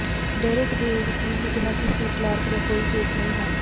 Derek ਦੇ ਵਕੀਲ ਨੇ ਕਿਹਾ ਕਿ ਸ਼੍ਰੀ ਕਲਾਰਕ ਦਾ ਕੋਈ ਕੇਸ ਨਹੀਂ ਹੈ